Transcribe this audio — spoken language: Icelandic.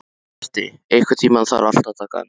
Berti, einhvern tímann þarf allt að taka enda.